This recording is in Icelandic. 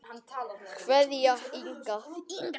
Kveðja, Inga.